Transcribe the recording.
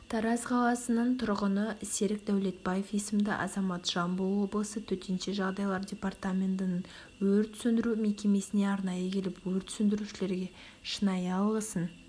тараз қаласының тұрғыны серік дәулетбаев есімді азамат жамбыл облысы төтенше жағдайлар департаментінің өрт сөндіру мекемесіне арнайы келіп өрт сөндірушілерге шынайы алғысын